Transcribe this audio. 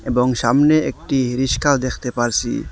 এবং সামনে একটি রিস্কা দেখতে পারসি।